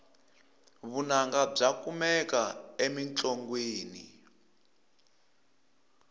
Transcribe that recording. vunanga bya kumeka emintlongwini